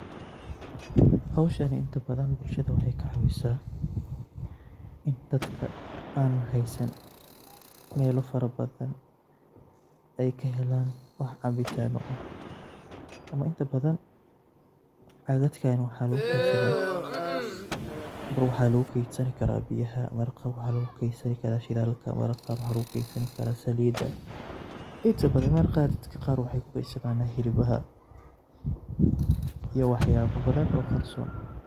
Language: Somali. Hoshaan inta badhan bulshadha waxay kacawisa in dadka an haysan xoolo farabadhan ay kahelaan wax cabitaano aah ama inta badhan caadadkan waxa laqu keysadha; mar waxa laqu keysdha biyaha, mar waxa laqukeysadha shidhalka, mar qaar waxa laqukasadhan karaa saliida, inta badhan daad qaar waxkukedsdhana hilibaha iyo wax yaabo badhan oo qarsoon.